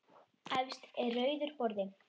Efst er rauður borði.